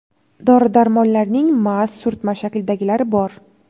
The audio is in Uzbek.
Dori-darmonlarning maz, surtma shaklidagilari bor.